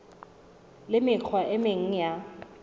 le mekgwa e meng ya